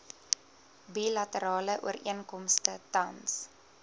bilaterale ooreenkomste tans